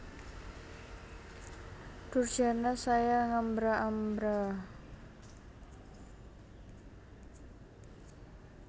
Durjana saya ngambra ambra